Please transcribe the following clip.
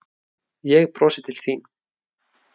Ég brosi til þín.